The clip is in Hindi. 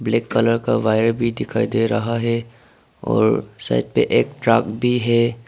एक कलर का वायर भी दिखाई दे रहा है और साइड पे एक ट्रक भी है।